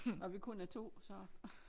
Og vi kun er 2 så